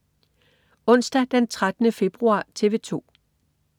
Onsdag den 13. februar - TV 2: